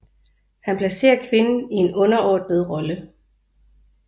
Han placerer kvinden i en underordnet rolle